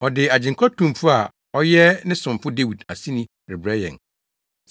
Ɔde Agyenkwa Tumfo a ɔyɛ ne somfo Dawid aseni rebrɛ yɛn,